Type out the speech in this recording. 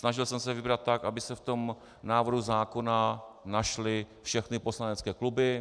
Snažil jsem se vybrat tak, aby se v tom návrhu zákona našly všechny poslanecké kluby.